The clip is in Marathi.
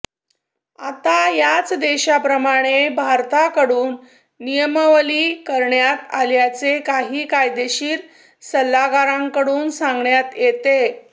आता याच देशांप्रमाणे भारताकडून नियमावली करण्यात आल्याचे काही कायदेशीर सल्लागारांकडून सांगण्यात येते